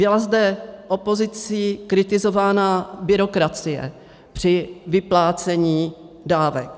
Byla zde opozicí kritizována byrokracie při vyplácení dávek.